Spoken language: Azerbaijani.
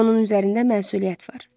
Onun üzərində məsuliyyət var.